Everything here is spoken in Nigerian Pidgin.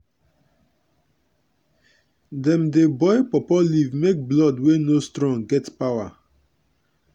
dem dey boil pawpaw leaf make blood wey no strong get power